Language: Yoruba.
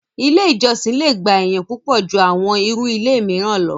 ilé ìjọsìn le gba èèyàn púpọ̀ ju àwọn irú ilé mìíràn lọ.